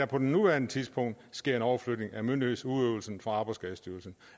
på nuværende tidspunkt sker en overflytning af myndighedsudøvelsen fra arbejdsskadestyrelsen